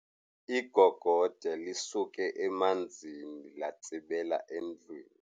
Igogode lisuke emanzini latsibela endlwini.